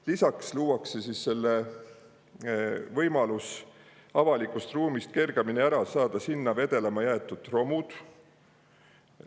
Lisaks luuakse võimalus avalikust ruumist kergemini ära saada sinna vedelema jäetud romud.